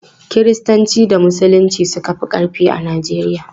Kiristanci da Musulunci suka fi ƙarfi a Najeriya.